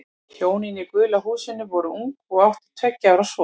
Hjónin í gula húsinu voru ung og áttu tveggja ára son.